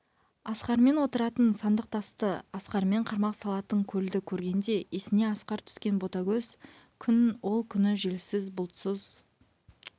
асқармен отыратын сандық тасты асқармен қармақ салатын көлді көргенде есіне асқар түскен ботагөз күн ол күні желсіз бұлтсыз